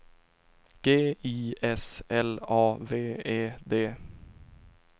G I S L A V E D